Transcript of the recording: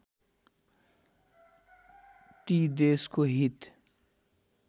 ती देशको हित